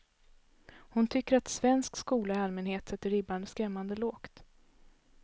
Hon tycker att svensk skola i allmänhet sätter ribban skrämmande lågt.